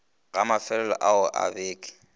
ga mefelelo ao a beke